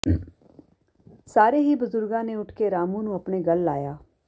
ਸਾਰੇ ਹੀ ਬਜ਼ੁਰਗਾਂ ਨੇ ਉੱਠ ਕੇ ਰਾਮੂ ਨੂੰ ਆਪਣੇ ਗਲ ਲਾਇਆ